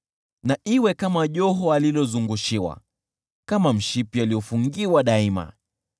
Na iwe kama joho alilozungushiwa, kama mshipi aliofungiwa daima.